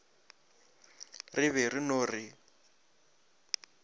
re be re no re